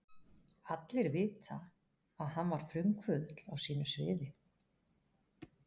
Allir vita, að hann var frumkvöðull á sínu sviði.